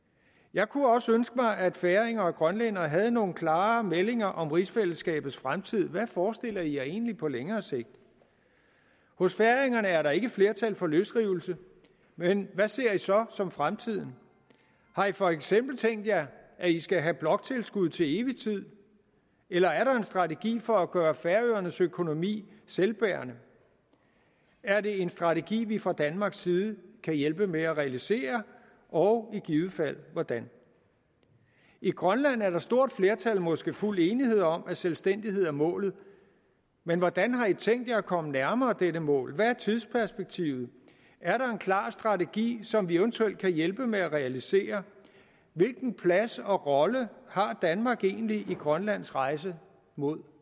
jeg kunne også ønske mig at færinger og grønlændere havde nogle klarere meldinger om rigsfællesskabets fremtid hvad forestiller i jer egentlig på længere sigt hos færingerne er der ikke flertal for løsrivelse men hvad ser i så som fremtiden har i for eksempel tænkt jer at i skal have bloktilskud til evig tid eller er der en strategi for at gøre færøernes økonomi selvbærende er det en strategi vi fra danmarks side kan hjælpe med at realisere og i givet fald hvordan i grønland er der stort flertal for måske fuld enighed om at selvstændighed er målet men hvordan har i tænkt jer at komme nærmere dette mål hvad er tidsperspektivet er der en klar strategi som vi eventuelt kan hjælpe med at realisere hvilken plads og rolle har danmark egentlig i grønlands rejse mod